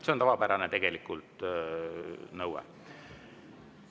See on tegelikult tavapärane nõue.